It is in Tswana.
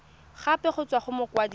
gape go tswa go mokwadise